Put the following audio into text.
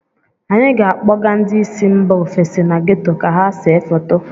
Anyị ga - akpọga ndị si mba ofesi na geto ka ha see foto.